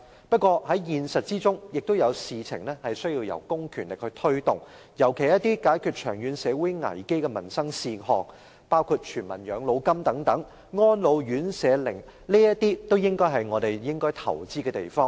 不過，現實中也有事情需要公權力推動，尤其是一些解決長遠社會危機的民生事項，包括全民養老金和安老院舍等，也是我們應該投資的地方。